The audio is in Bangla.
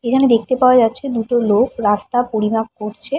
এখানে দেখতে পাওয়া যাচ্ছে দুটো লোক রাস্তা পরিমাপ করছে।